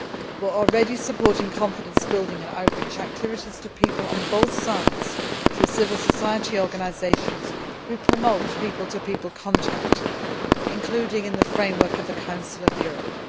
We are already supporting confidence building and outreach activities to people on both sides through civil society organisations who promote people to people contacts, including in the framework of the Council of Europe.